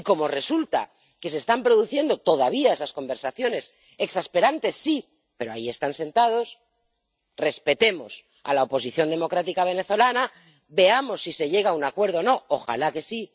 Y como resulta que se están produciendo todavía esas conversaciones —exasperantes, sí, pero ahí están sentados―, respetemos a la oposición democrática venezolana, veamos si se llega a un acuerdo o no —¡ojalá que sí!—,